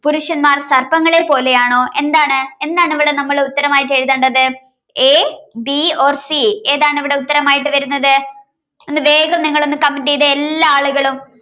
പുരുഷന്മാർ സർപ്പങ്ങളെ പോലെയാണോ എന്താണ്എന്താണ് നമ്മളിവിടെ ഉത്തരമായി എഴുതേണ്ടത് a b or c ഏതാണിവിടെ ഉത്തരമായി വരുന്നത്ഒന്ന്. വേഗം നിങ്ങളൊന്ന് comment ചെയ്തേ എല്ലാവരും